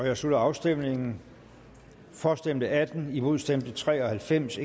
jeg slutter afstemningen for stemte atten imod stemte tre og halvfems